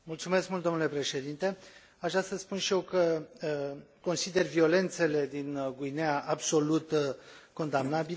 Aș vrea să spun și eu că consider violențele din Guineea absolut condamnabile.